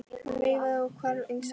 Hún veifaði og hvarf inn í strætó.